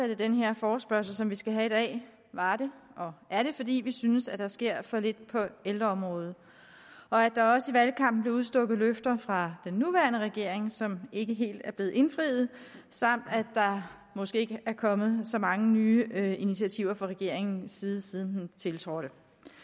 den her forespørgsel som vi skal have i dag var det og er det fordi vi synes at der sker for lidt på ældreområdet og at der også i valgkampen blev udstukket løfter fra den nuværende regerings side som ikke helt er blevet indfriet samt at der måske ikke er kommet så mange nye initiativer fra regeringens side siden den tiltrådte